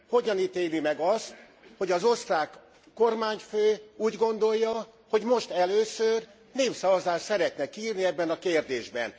Hogyan ítéli meg azt, hogy az osztrák kormányfő úgy gondolja, hogy most először népszavazást szeretne kiírni ebben a kérdésben?